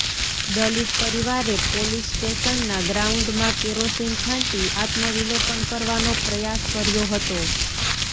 દલિત પરિવારે પોલીસ સ્ટેશનના ગ્રાઉન્ડમાં કેરોસીન છાંટી આત્મવિલોપન કરવાનો પ્રયાસ કર્યો હતો